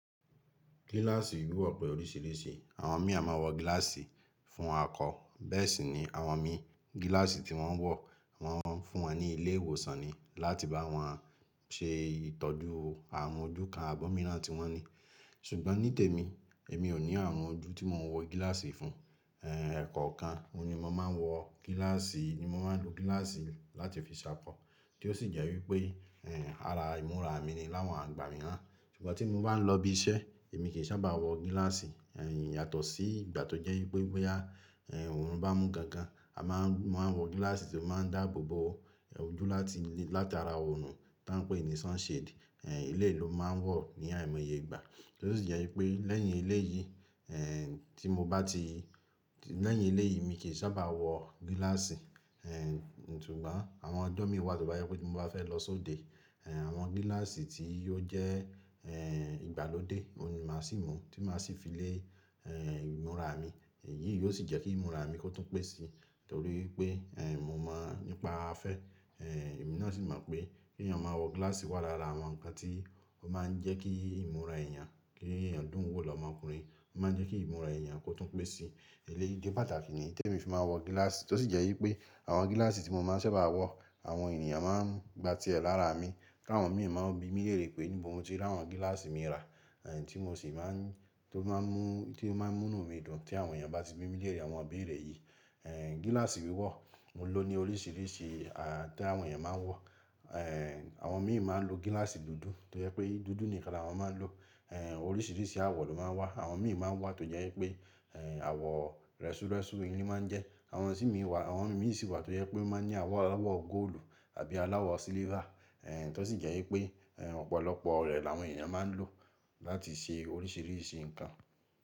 Gíláàsì wíwọ̀ pè oríṣiríṣi. Àwọn mi a máa wọ gíláàsì fún akọ. Bẹ́ẹ̀ sì ni àwọn mi, gíláàsì tí wọ́n wọ̀, wọ́n fún wọn ní ilé ìwòsàn ni láti bá wọn ṣe ìtọ́jú àwọn ojú kan abọ́míràn tí wọ́n ní. Ṣùgbọ́n ní tèmi, èmi ò ní àwọn ojú tí mo máa wọ gíláàsì fún. Ẹ̀ẹ̀kọ̀ kan, mo ni mo máa ń wọ gíláàsì, ni mo máa ń lo gíláàsì láti fi ṣàkọ. Tí ó sì jẹ́ wípé ara ìmúra mi ni láwọn àgbà mí rán. Ṣùgbọ́n tí mo bá ń lọ ibi iṣẹ́, èmi kì í sábà wọ gíláàsì yàtọ̀ sí ìgbà tó jẹ́ wípé bóyá oòrùn bá mú gangan, a máa ń, wọ́n máa ń wọ gíláàsì tó máa ń dáàbò bo ojú láti, láti ara oòrùn tí wọ́n ń pè ní sunshade. Eléyìí lo máa ń wọ̀ ní àìmọye ìgbà. Tí ó sì jẹ́ wípé lẹ́yìn ilé yìí, tí mo bá ti-- lẹ́yìn ilé yìí mi kì í sábà wọ gíláàsì. Ṣùgbọ́n àwọn ọjọ́ mí wà tó bá yẹ pé mo bá fẹ́ lọ sóde, àwọn gíláàsì tí yóò jẹ́ ìgbàlódé òun ni màá ṣì mú tí màá ṣi fi lé ìmúra mi. Èyí yóò sì jẹ́ kí ìmúra mi kó tún pé si. Nítorí wípé mo mọ̀ ngba afẹ́. Èmi náà sì mọ̀ pé kí èèyàn máa wọ gíláàsì wà lára àwọn nǹkan tí ó máa ń jẹ́ kí ìmúra èèyàn, kí èèyàn dùn wò lọ́mọkùnrin. Ó máa ń jẹ́ kí ìmúra èèyàn kó tún pé si. Eléyìí jẹ́ pàtàkì ní tèmi fi máa ń wọ gíláàsì. Tí ó sì jẹ́ wípé àwọn gíláàsì tí mo máa ń sábà wọ, àwọn ènìyàn máa ń gba tí ẹ lára mi. Tàwọn mi máa ń bi mí lérè pé níbo mo ti rí àwọn gíláàsì mi rà. Tí mo sì máa ń-- tó máa ń mú, tí ó máa ń mú nù mi dùn tí àwọn èèyàn bá ti bi mí lérè àwọn òbí rẹ̀ yìí. Gíláàsì wíwọ̀, òun lò ó ní oríṣiríṣi tí àwọn èèyàn máa ń wọ. Àwọn mi sì máa ń lo gíláàsì dúdú tó jẹ́ pé dúdú nìkan làwọn máa ń lò. Oríṣiríṣi àwọ̀ ló máa ń wà. Àwọn mi sì máa ń wà tó jẹ́ wípé àwọ̀ rẹ́súrẹ́sú ilé máa ń jẹ́. Àwọn sì mí wà, àwọn mi sì wà tó jẹ́ pé ó máa ń ní àwọ̀ aláwọ̀ góòlù àbí aláwọ̀ silver. Tí ó sì jẹ́ wípé ọ̀pọ̀lọpọ̀